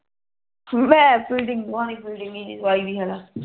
ਮੈਂ ਫਿਟੀਂਗ ਪਾਨੀ ਸੀ ਫਿਟੀਂ